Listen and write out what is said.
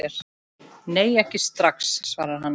Nei, ekki strax, svarar hann.